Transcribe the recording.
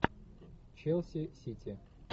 челси сити